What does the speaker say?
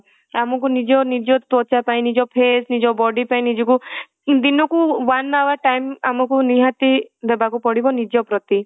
ଆମକୁ ନିଜ ନିଜ ତ୍ୱଚା ପାଇଁ ନିଜ face ନିଜ body ପାଇଁ ନିଜକୁ ଦିନକୁ one hour time ଆମକୁ ନିହାତି ଦେବାକୁ ପଡିବ ନିଜ ପ୍ରତି